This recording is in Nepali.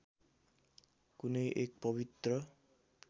कुनै एक पवित्र